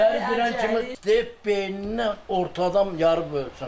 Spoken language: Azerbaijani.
İçəri girən kimi deyib beynini ortadan yarıb ölsün.